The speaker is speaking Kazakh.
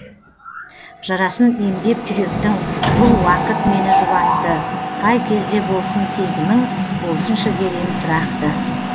жарасын емдеп жүректің бұл уақыт мені жұбатты қай кезде болсын сезімің болсыншы дер ем тұрақты